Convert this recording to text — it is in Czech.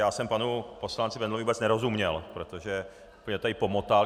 Já jsem panu poslanci Bendlovi vůbec nerozuměl, protože to tady pomotal.